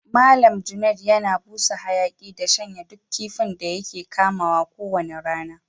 Mallam Junaid yana busa hayaki da shanyin duk kifin da yake kamaw ko wani rana.